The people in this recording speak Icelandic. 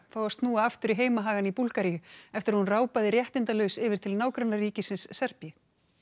fái að snúa aftur í heimahagana í Búlgaríu eftir að hún réttindalaus yfir til nágrannaríkisins Serbíu